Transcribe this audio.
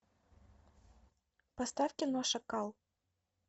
поставь кино шакал